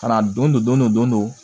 Ka na don don dɔ don dɔ